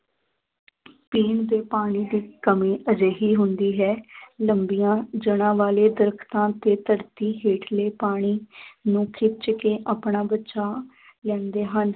ਪੀਣ ਦੇ ਪਾਣੀ ਦੀ ਕਮੀ ਅਜਿਹੀ ਹੁੰਦੀ ਹੈ ਲੰਬੀਆਂ ਜੜ੍ਹਾਂ ਵਾਲੇ ਦਰੱਖਤਾਂ ਤੇ ਧਰਤੀ ਹੇਠਲੇ ਪਾਣੀ ਨੂੰ ਖਿੱਚ ਕੇ ਆਪਣਾ ਬਚਾਅ ਲੈਂਦੇ ਹਨ,